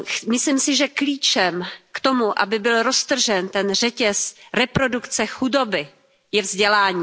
Myslím si, že klíčem k tomu, aby byl roztržen ten řetěz reprodukce chudoby, je vzdělání.